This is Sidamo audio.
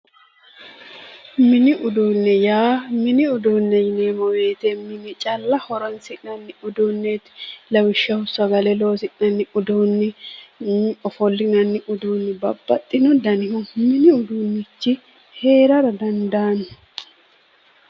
mini uduunne yaa mini uduunne yineemmo wote mine calla horonsi'neemoreeti uduunneeti lawishshaho sagale loosi'nanni uduunni ofollinanni uduunni babbaxino dani mini uduunnichi heerara dandaanno.